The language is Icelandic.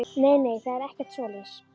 Nei, nei, það er ekkert svoleiðis.